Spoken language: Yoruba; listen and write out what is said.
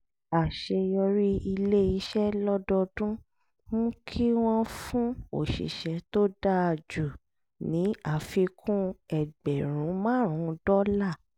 àṣeyọrí ilé iṣẹ́ lọ́dọọdún mú kí wọ́n fún òṣìṣẹ́ tó dáa jù ní àfikún ẹgbẹ̀rún márùn-ún dọ́là